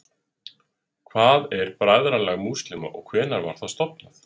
hvað er bræðralag múslíma og hvenær var það stofnað